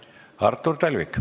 Artur Talvik.